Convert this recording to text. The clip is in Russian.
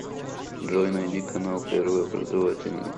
джой найди канал первый образовательный